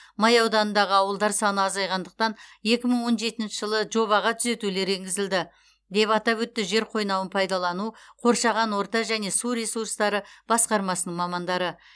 май ауданындағы ауылдар саны азайғандықтан екі мың он жетінші жылы жобаға түзетулер енгізілді деп атап өтті жер қойнауын пайдалану қоршаған орта және су ресурстары басқармасының мамандары